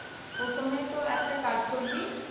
প্রথমে তো একটা কাজ করবি,